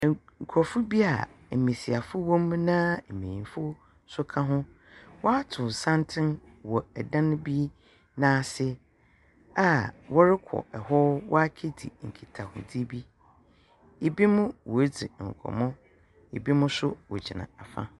Nkurofo bi a mmasiafo wɔmu na mmayinfo nso ka ho w'atow santen wɔ ɛdan bi n'ase a wɔre kɔ hɔ w'akedzi nketahudzi bi ebi mo w'adzi nkɔmɔ ebi mo nso wogyina afa.